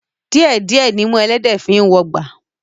Díẹ̀ díẹ̀ nimú ẹlẹ́dẹ̀ẹ́ fi ń wọgbà